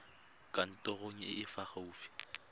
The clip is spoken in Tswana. kantorong e e fa gaufi